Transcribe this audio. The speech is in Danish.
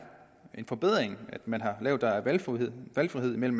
en forbedring at man har lavet der er valgfrihed valgfrihed man